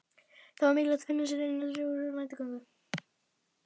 Það var því mikilvægt að finna sér eitthvað til dundurs á næturgöngunum.